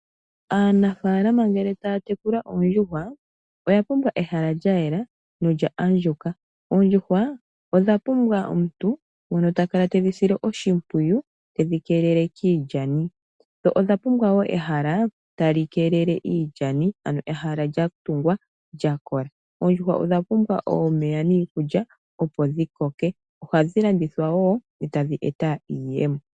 Aanafaalama ngele taya tekula oondjuhwa oya pumbwa ehala lyayela nolya a ndjuka. Oondjuhwa odha pumbwa omuntu ngono ta kala te dhi sile oshimpwiyu, tedhi keelele kiilyani. Dho odha pumbwa woo ehala tali keelele iilyani ano ehala lyatungwa lyakola. Oondjuhwa odha pumbwa omeya niikulya opo dhikoke, ohadhi landithwa woo e tadhi e ta iiyemo.